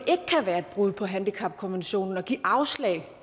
være et brud på handicapkonventionen at give afslag